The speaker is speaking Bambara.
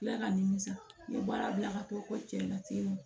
Ala ka nimisa n ye baara bila ka t'o fɔ cɛ in na ten nɔ